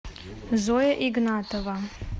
зоя игнатова